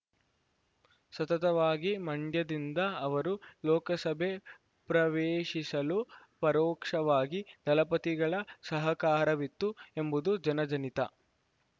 ಸತತವಾಗಿ ಮಂಡ್ಯದಿಂದ ಅವರು ಲೋಕಸಭೆ ಪ್ರವೇಶಿಸಲು ಪರೋಕ್ಷವಾಗಿ ದಳಪತಿಗಳ ಸಹಕಾರವಿತ್ತು ಎಂಬುದು ಜನಜನಿತ